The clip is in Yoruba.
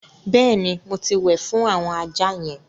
Bẹ́ẹ̀ ni, mo ti wẹ̀ fún àwọn ajá yẹn.